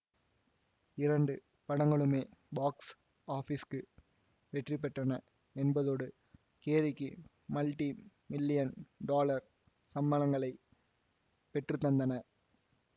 இரண்டு படங்களுமே பாக்ஸ் ஆபீஸ்கு வெற்றிபெற்றன என்பதோடு கேரிக்கு மல்டிமில்லியன் டாலர் சம்பளங்களைப் பெற்றுத்தந்தன